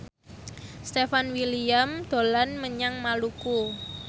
Stefan William dolan menyang Maluku